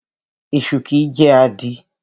Esu kìí jẹ́ àdí.